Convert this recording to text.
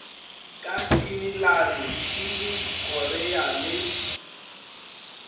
ka finilane tšhile korea le